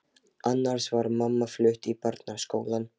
Annars var mamma flutt í Barnaskólann.